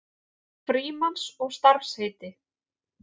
Frímanns og starfsheiti.